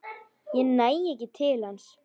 Næ ekki til hans.